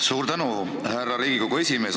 Suur tänu, härra Riigikogu esimees!